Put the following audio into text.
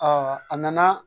a nana